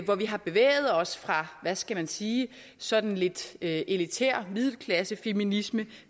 hvor vi har bevæget os fra hvad skal man sige sådan lidt elitær middelklassefeminisme